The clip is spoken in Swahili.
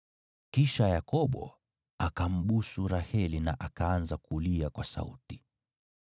Kisha Yakobo akambusu Raheli na akaanza kulia kwa sauti.